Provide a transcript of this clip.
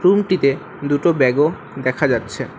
রুমটিতে দুটো ব্যাগও দেখা যাচ্ছে।